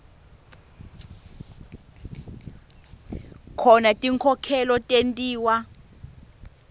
khona tinkhokhelo tentiwa